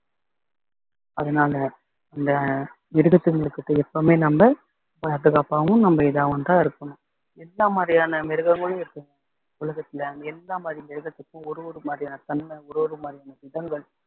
அதனால அந்த மிருகத்துகங்ககிட்ட எப்பவுமே நம்ம பாதுகாப்பாவும் நம்ம இதாவும்தான் இருக்கணும் எந்த மாதிரியான மிருகங்களும் இருக்கும் உலகத்துல அந்த எந்த மாதிரி மிருகத்துக்கு ஒரு ஒரு மாதிரியான தன்மை ஒரு ஒரு மாதிரியான விதங்கள்